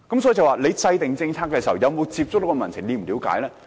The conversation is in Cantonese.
所以政府制訂政策時，有沒有接觸民情呢？